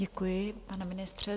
Děkuji, pane ministře.